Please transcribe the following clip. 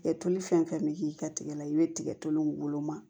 Tigɛ tulu fɛn fɛn bɛ k'i ka tigɛ la i bɛ tigɛtulu min woloma